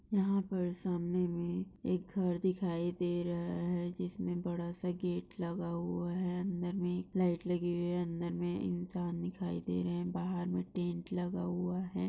यहा पर सामने मे एक घर दिखाई दे रहा है जिसमे बडासा गेट लगा हुआ है अंदर मे एक लाइट लगी हुई है अंदर मे इंसान दिखाई दे रहा है बाहर मे टेन्ट लगा हुआ है।